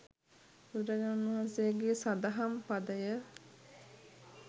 බුදුරජාණන් වහන්සේගේ සදහම් පදය